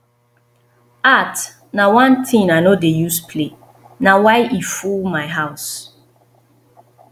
art na one thing i no dey use play na why e full my house